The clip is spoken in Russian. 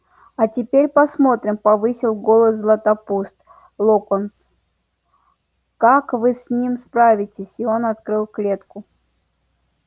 а теперь посмотрим повысил голос златопуст локонс как вы с ними справитесь и он открыл клетку